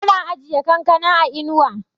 ana ajiye kankana a inuwa